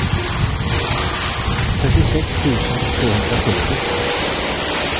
trettiosex tusen tvåhundrasjuttio